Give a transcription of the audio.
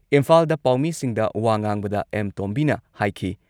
ꯏꯝꯐꯥꯜꯗ ꯄꯥꯎꯃꯤꯁꯤꯡꯗ ꯋꯥ ꯉꯥꯡꯕꯗ ꯑꯦꯝ. ꯇꯣꯝꯕꯤꯅ ꯍꯥꯏꯈꯤ